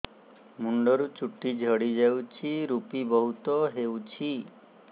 ମୁଣ୍ଡରୁ ଚୁଟି ଝଡି ଯାଉଛି ଋପି ବହୁତ ହେଉଛି